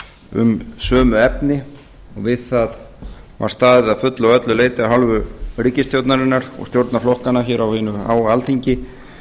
um sömu efni og við það var staðið að fullu og öllu leyti af hálfu ríkisstjórnarinnar og stjórnarflokkanna hér á hinu háa alþingi